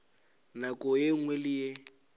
nako ye nngwe le ye